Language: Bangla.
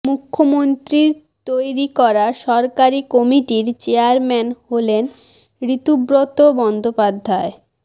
মুখ্যমন্ত্রীর তৈরি করা সরকারি কমিটির চেয়ারম্যান হলেন ঋতব্রত বন্দ্যোপাধ্যায়